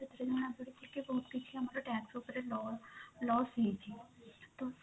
ସେଥିରେ ଜଣା ପଡିଛି କି ବହୁତ କିଛି ଆମର tax ଉପରେ ଲ loss ହେଇଛି ତ